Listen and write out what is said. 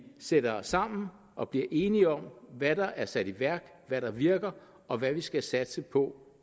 sætter os sammen og bliver enige om hvad der er sat i værk hvad der virker og hvad vi skal satse på